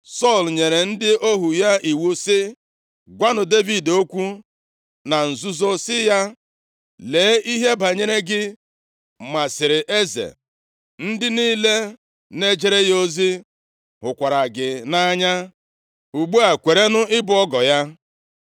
Sọl nyere ndị ohu ya iwu sị, “Gwanụ Devid okwu na nzuzo sị ya, ‘Lee, ihe banyere gị masịrị eze, ndị niile na-ejere ya ozi hụkwara gị nʼanya. Ugbu a, kwerenụ ịbụ ọgọ ya.’ ”